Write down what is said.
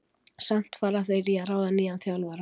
Samt fara þeir í að ráða nýjan þjálfara.